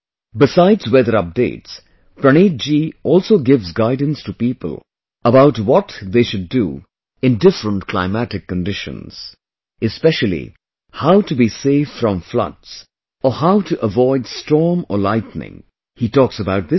Besides weather updates, Praneeth ji also gives guidance to people about what they should do in different climatic conditions... Especially how to be safe from floods or how to avoid storm or lightning, he talks about this too